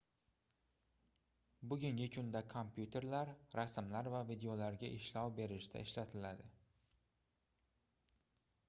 bugungi kunda kompyuterlar rasmlar va videolarga ishlov berishda ishlatiladi